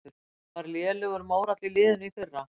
Var lélegur mórall í liðinu í fyrra?